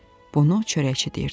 Bunu çörəkçi deyirdi.